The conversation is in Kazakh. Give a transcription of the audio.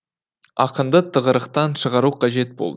ақынды тығырықтан шығару қажет болды